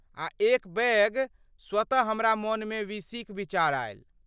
आ एकबेग स्वतः हमरा मनमे वीसीक विचार आयल।